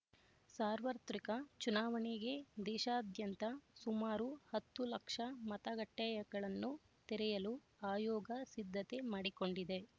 ಸಾರ್ವತ್ರಿಕ ಚುನಾವಣೆಗೆ ದೇಶಾದ್ಯಂತ ಸುಮಾರು ಹತ್ತು ಲಕ್ಷ ಮತಗಟ್ಟೆ ಗಳನ್ನು ತೆರೆಯಲು ಆಯೋಗ ಸಿದ್ಧತೆ ಮಾಡಿಕೊಂಡಿದೆ